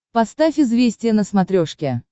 поставь известия на смотрешке